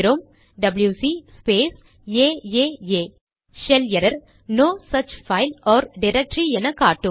WC space AAA shell error no such file or directory என காட்டும்